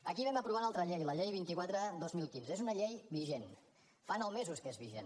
aquí vam aprovar una altra llei la llei vint quatre dos mil quinze que és una llei vigent fa nou mesos que és vigent